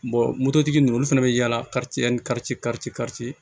mototigi ninnu olu fana bɛ yala ka se